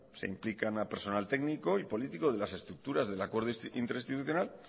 se implican al personal técnico y político de las estructuras del acuerdo interinstitucional